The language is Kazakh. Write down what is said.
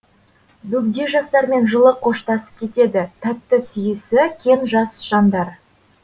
бөгде жастармен жылы қоштасып кетеді тәтті сүйісі кен жас жандар